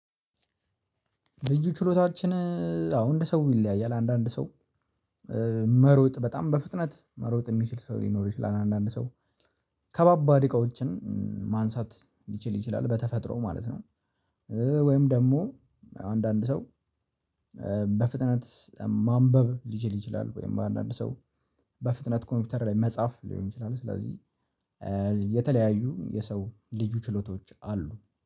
ልዩ ችሎታችን አዎ እንደ ሰው ይለያያል አንዳንድ ሰው መሮጥ በጣም በፍጥነት መሮጥ የሚችል ሰው ሊኖር ይችላል አንዳንድ ሰው ከባባድ እቃዎችን ማንሳት ሊችል ይችላል በተፈጥሮ ማለት ነው። ወይም ደግሞ አንዳንድ ሰው በፍጥነት ማንበብ ሊችል ይችላል ወይም በአንዳንድ ሰው በፍጥነት ኮምፒውተር ላይ መጻፍ ሊሆን ይችላል። ስለዚህ የተለያዩ የሰው ልዩ ችሎታዎች አሉ